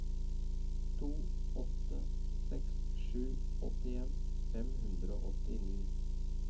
to åtte seks sju åttien fem hundre og åttini